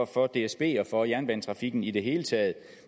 for dsb og for jernbanetrafikken i det hele taget